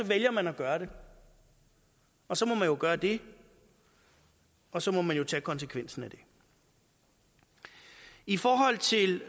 vælger man at gøre det og så må man jo gøre det og så må man tage konsekvensen af det i forhold til